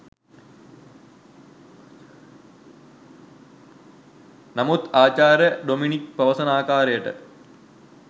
නමුත් ආචාර්ය ඩොමිනික් පවසන ආකාරයට